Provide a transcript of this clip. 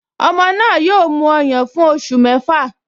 Ọmọ náà yóò mu ọyàn fún oṣù mẹ́fà